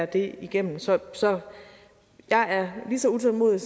det igennem så så jeg er lige så utålmodig